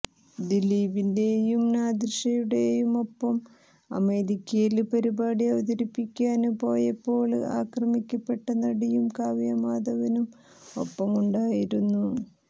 ദിലീപിന്റേയും നാദിര്ഷയുടേയുമൊപ്പം അമേരിക്കയില് പരിപാടി അവതരിപ്പിക്കാന് പോയപ്പോള് ആക്രമിക്കപ്പെട്ട നടിയും കാവ്യ മാധവനും ഒപ്പമുണ്ടായിരുന്നു